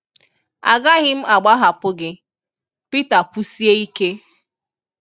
“À gàghì m àgbàhàpù̀ gị” Pítà kwùsíè̀ íké.